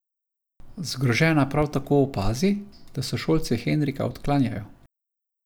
Zgrožena prav tako opazi, da sošolci Henrika odklanjajo.